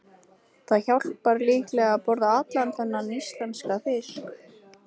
Það hjálpar líklega að borða allan þennan íslenska fisk.